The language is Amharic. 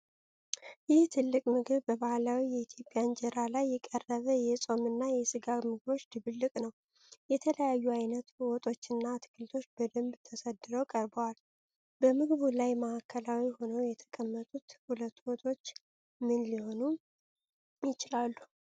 ይህ ትልቅ ምግብ በባህላዊ የኢትዮጵያ እንጀራ ላይ የቀረበ የጾም እና የሥጋ ምግቦች ድብልቅ ነው። የተለያዩ አይነት ወጦችና አትክልቶች በደንብ ተሰድረው ቀርበዋል። በምግቡ ላይ ማዕከላዊ ሆነው የተቀመጡት ሁለቱ ወጦች ምን ሊሆኑ ይችላሉ?